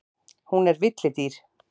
Hún er villidýr.